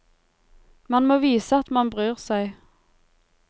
Man må vise at man bryr seg.